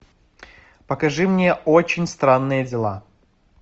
покажи мне очень странные дела